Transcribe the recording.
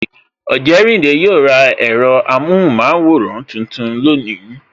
Ojerinde yo ra ẹ̀rọ amohunmaworan tuntun lónìí